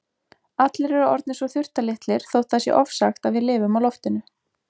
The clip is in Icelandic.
Allir eru orðnir svo þurftarlitlir þótt það sé ofsagt að við lifum á loftinu.